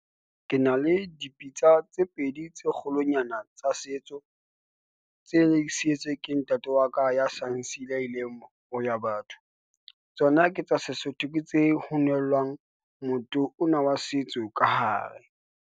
Ke na le dipitsa tse pedi tse kgolonyana tsa setso, tse neng ke sietswe ke ntate wa ka ya sa nsiile, a ileng boya batho. Tsona ke tsa Sesotho, ke tse hanellang motoho ona wa setso ka hare.